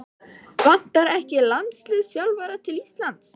Vantar ekki landsliðsþjálfara til Íslands?